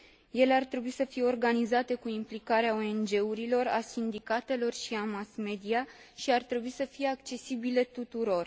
Ele ar trebui să fie organizate cu implicarea ONG urilor, a sindicatelor și a mass media și ar trebui să fie accesibile tuturor.